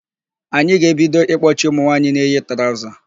Anyị ga-ebido ịkpọchi ụmụnwaanyị na-eyi traụza.